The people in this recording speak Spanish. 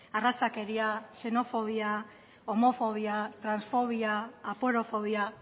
arrazakeria xenofobia homofobia transfobia aporofobia